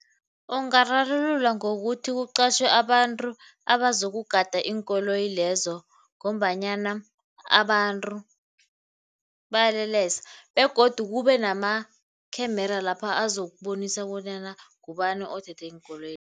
Ungararululwa ngokuthi kuqatjhiwe abantu abazokugada iinkoloyi lezo ngombanyana abantu bayalelesa begodu kube nama-camera lapha azokubonisa bonyana ngubani othethe iinkoloyi.